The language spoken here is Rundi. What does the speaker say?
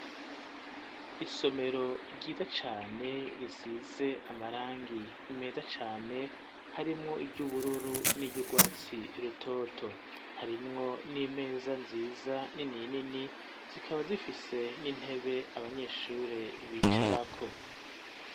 Isomero ryiza cane risize amarangi meza cane harimwo iryo ubururu n'iryo ugwatsi rutoto harimwo n'imeza nziza ni ninini zikaba zifise n'intebe abanyeshure bicarako.